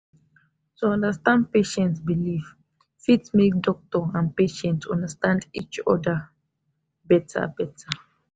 to understand patient belief fit make doctor and patient understand each other better. better.